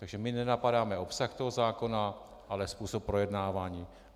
Takže my nenapadáme obsah toho zákona, ale způsob projednávání.